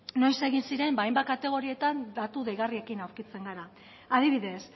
noiz egin ziren hainbat kategorietan datu deigarriekin aurkitzen gara adibidez